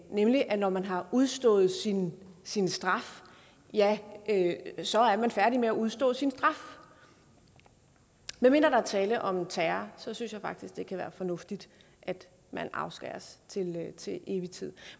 nemlig at når man har udstået sin sin straf ja så er man færdig med at udstå sin straf medmindre der er tale om terror så synes jeg faktisk det kan være fornuftigt at man afskæres til evig tid